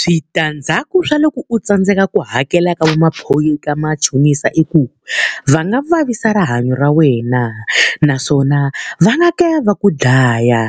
Switandzhaku swa loko u tsandzeka ku hakela ka ka machonisa i ku, va nga vavisa rihanyo ra wena. Naswona va nga kala va ku dlaya,